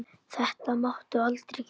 Þetta máttu aldrei gera.